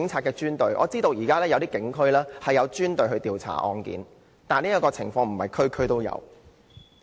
據我所知，現時一些警區設有專隊負責調查相關案件，但不是每區都有。